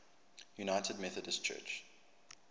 united methodist church